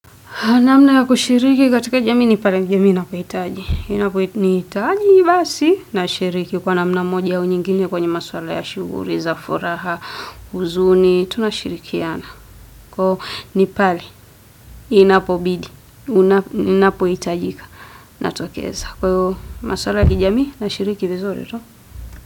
Naamna ya kushiriki katika jamii ni pale jamii inakuhitaji. Inaponihitaji, basi nashiriki kwa namna moja au nyingine kwenye maswala ya shughuli, za furaha, huzuni. Tunashirikiana. Kwaivo ni pale, inapobidi, ninapohitajika. Natokeza kwaivo maswala ya kijamii nashiriki vizuri tu.